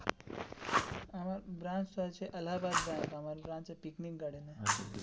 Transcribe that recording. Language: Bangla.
আমের branch টা আছে এলাহাবাদ ব্যাঙ্ক আমার branch টা পিকনিক গার্ডেন এ.